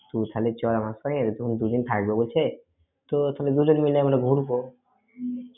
তুই তাহলে চয় আমার সঙ্গে দুদিন থাকব বলছে। তো তবে দুজনে মিলে আমরা ঘুরব।